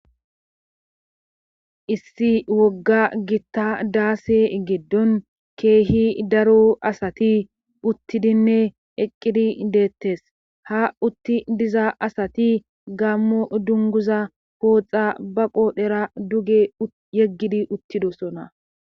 issi wogga gitta daase giddon keehi daro asati uttidinne eqqidi deettes ha utti diza asati gammo dunguza pooxa ba qoodhera duge yeggidi uttidosona